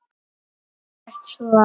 Ekkert svo.